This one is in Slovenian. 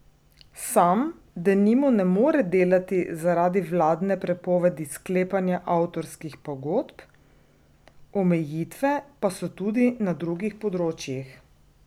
Sam denimo ne more delati zaradi vladne prepovedi sklepanja avtorskih pogodb, omejitve pa so tudi na drugih področjih.